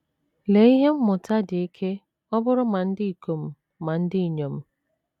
Lee ihe mmụta dị ike ọ bụụrụ ma ndị ikom ma ndị inyom!